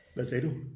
Hvad sagde du